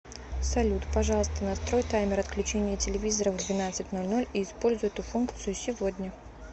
салют пожалуйста настрой таймер отключения телевизора в двенадцать ноль ноль и используй эту функцию сегодня